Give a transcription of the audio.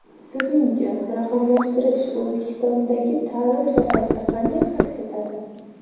Sizningcha, raqamlashtirish O‘zbekistondagi ta’lim sohasida qanday aks etadi?